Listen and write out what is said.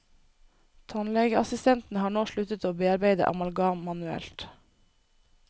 Tannlegeassistentene har nå sluttet å bearbeide amalgam manuelt.